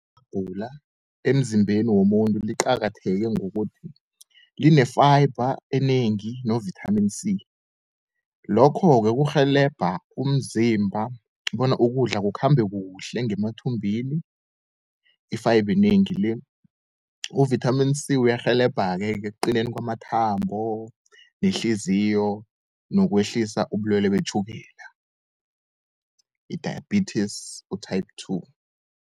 Ihabhula emzimbeni womuntu liqakatheke ngokuthi line-fiber enengi no-vitamin C. Lokho-ke kurhelebha umzimba bona ukudla kukhambe kuhle ngemathumbini, i-fiber enengi le. U-vitamin C uyarhelebha-ke ekuqineni kwamathambo, nehliziyo nokwehlisa ubulwelwe betjhukela i-diabetes u-type two.